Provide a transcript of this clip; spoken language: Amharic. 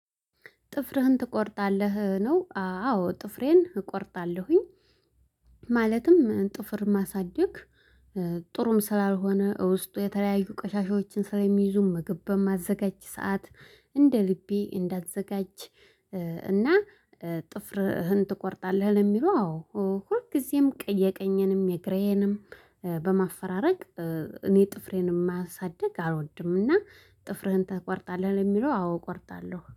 ጥፍርህን ትቆርጣለህ ነው? አዎ ጥፍሬን እቆርጣለሁኝ። ማለትም ጥፍር ማሳደግ። ጥሩም ስላልሆነ ውስጡ የተለያዩ ቀሻሻዎችን ስለሚይዙ ምግብ በማዘጋጅ ሰዓት እንደ ልቤ እንዳዘጋጅ። እና ጥፍርህን ትቆርጣለህ? ለሚለው አዎ ሁልጊዜም የቀኘንም የግሬንም። በማፈራረቅ እኔ ጥፍሬን ማያሳድግ አልወድምና። ጥፍርህን ተቆርጣለህ? የሚለው አዎ እቆርጣለሁ